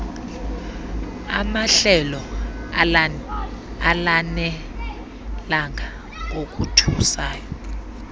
amahlelo alanelanga ngokothusayo